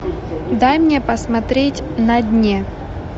дай мне посмотреть на дне